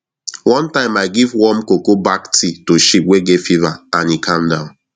one time i give warm cocoa bark tea to sheep wey get fever and e calm down